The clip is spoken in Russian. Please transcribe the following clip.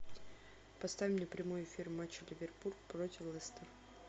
поставь мне прямой эфир матча ливерпуль против лестера